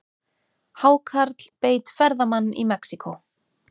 Hákarl beit ferðamann í Mexíkó